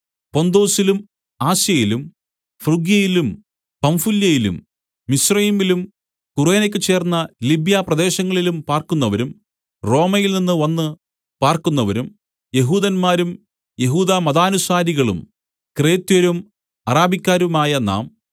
പൊന്തൊസിലും ആസ്യയിലും ഫ്രുഗ്യയയിലും പംഫുല്യയിലും മിസ്രയീമിലും കുറേനയ്ക്ക് ചേർന്ന ലിബ്യാപ്രദേശങ്ങളിലും പാർക്കുന്നവരും റോമയിൽ നിന്ന് വന്ന് പാർക്കുന്നവരും യെഹൂദന്മാരും യെഹൂദമതാനുസാരികളും ക്രേത്യരും അരാബിക്കാരുമായ നാം